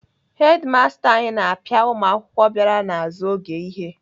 Hedimasta anyị na-apịa ụmụakwụkwọ bịara n'azụ oge ihe.